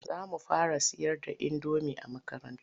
Za mu fara sayar da indomi a makaranta.